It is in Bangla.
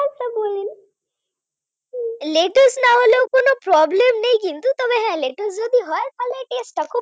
লেটুস না হলেও কোন Problem নেই কিন্তু তবে ভালো তবে যদি হা লেটুস যদি হয় তাহলে taste টা খুব